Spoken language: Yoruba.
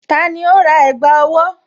Tani ó rà ẹ̀gbá owó?